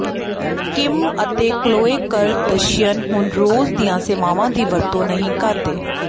Kim ਅਤੇ Chloe Kardashian ਹੁਣ ਰੋਜ ਦੀਆਂ ਸੇਵਾਵਾਂ ਦੀ ਵਰਤੋਂ ਨਹੀਂ ਕਰਦੇ